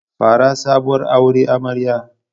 Fara sabuwar aure amarya.